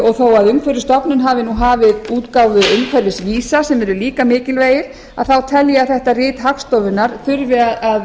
og þó að umhverfisstofnun hafi hafið útgáfu umhverfisvísa sem eru líka mikilvægir þá tel ég að þetta rit hagstofunnar þurfi að